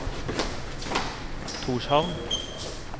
Tórshavn